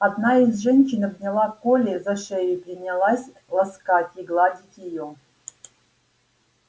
одна из женщин обняла колли за шею и принялась ласкать и гладить её